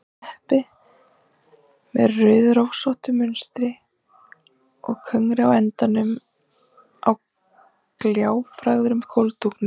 Teppi með rauðrósóttu munstri og kögri á endunum á gljáfægðum gólfdúknum.